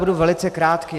Budu velice krátký.